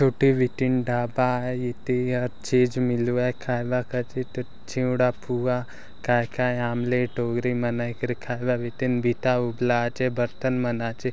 एटे उटीन ढाभा आहय इते यह हर चीज मिलवाए खाएलक इटे चिवड़ा पुहा काय काय आमलेट उगरी मनईकरी खाएला इटेन बीटा उबला आचे बर्तन मन आचे।